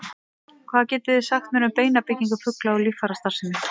Hvað getið þið sagt mér um beinabyggingu fugla og líffærastarfsemi?